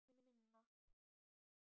Það er minna.